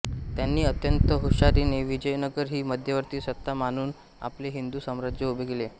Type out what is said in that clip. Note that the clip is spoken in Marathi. यांनी अत्यंत हुशारीने विजयनगर ही मध्यवर्ती सत्ता मानून आपले हिंदू साम्राज्य उभे केले